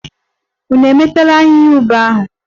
Unu emetụla ahịhịa ube aka!